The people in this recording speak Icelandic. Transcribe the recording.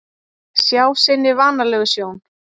Sjá sinni vanalegu sjón.